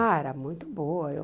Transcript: Ah, era muito boa. Eu